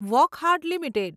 Wockhardt limited